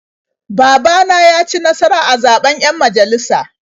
Baba na ya ci nasara a zaɓen 'yan majalisa.